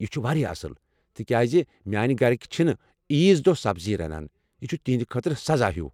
یہ چھُ واریاہ اصٕل، تِکیٚازِ میٲنہِ گھرِكۍ چھِنہٕ عیز دۄہ سبزی رنان، یہِ چھُ تہنٛدِ خٲطرٕ سزا ہیٚو۔